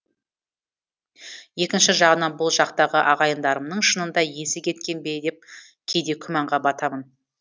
екінші жағынан бұл жақтағы ағайындарымның шынында есі кеткен бе деп кейде күмәнға батамын